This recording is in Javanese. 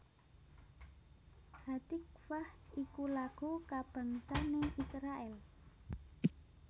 Hatikvah iku lagu kabangsané Israèl